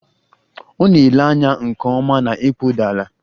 Ọ na-ele anya nke ọma na ịkpụ dị ala